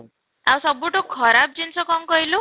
ଆଉ ସବୁଠୁ ଖରାପ ଜିନିଷ କ'ଣ କହିଲୁ?